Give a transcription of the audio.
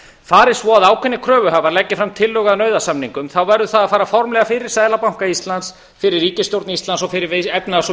fari svo að ákveðnir kröfuhafar leggi fram tillögu að nauðasamningum þá verður það að fara formlega fyrir seðlabanka íslands fyrir ríkisstjórn íslands og fyrir efnahags og